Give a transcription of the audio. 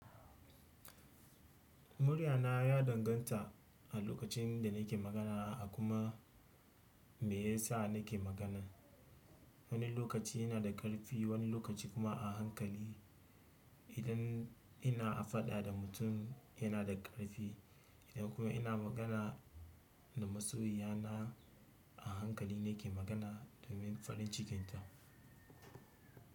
Muryana ya danganta a lokacin da nake magana a kuma me ya sa nake magana. Wani lokaci yana da ƙarfi wani lokaci kuma a hankali. Idan ina a faɗa da mutum yana da ƙarfi, idan kuma ina magana da masoyiya na a hankali nake magana domin farin cikinta.